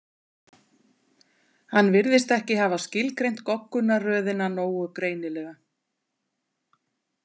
Hann virðist ekki hafa skilgreint goggunarröðina nógu greinilega.